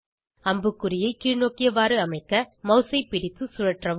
அம்புக்குறியை கீழ்நோக்கியவாறு அமைக்க மவுஸை பிடித்து சுழற்றவும்